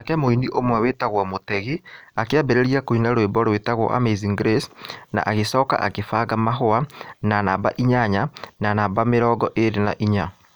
Nake mũini ũmwe wĩtagwo Mutegi akĩambĩrĩria kũina rwĩmbo rwĩtagwo Amazing Grace, na agĩcoka akĩbanga mahũa na namba inyanya na namba mĩrongo ĩĩrĩ na inya.